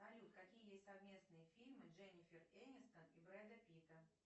салют какие есть совместные фильмы дженнифер энистон и брэда питта